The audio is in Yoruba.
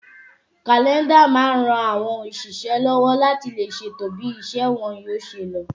Kàlẹ́ndà máa ń ran àwọn òṣìṣẹ́ lọ́wọ́ láti lè ṣètò bí iṣẹ́ wọn yóò ṣe lọ